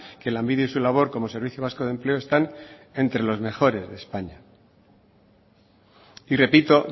que lanbide y su labor como servicio vasco de empleo están entre los mejores de españa y repito